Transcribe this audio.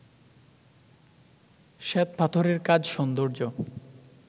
শ্বেতপাথরের কাজ সৌন্দর্য